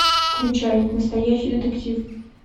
включай настоящий детектив